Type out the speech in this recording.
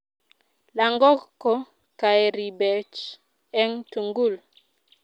langok ko chaeribech eng' tungul